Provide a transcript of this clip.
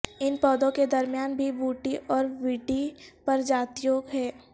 ان پودوں کے درمیان بھی بوٹی اور ووڈی پرجاتیوں ہیں